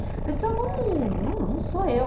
Ela disse, não, não sou eu.